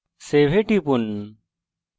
এখন save এ টিপুন